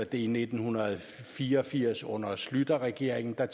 det i nitten fire og firs under schlüterregeringen da